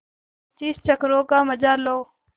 पच्चीस चक्करों का मजा लो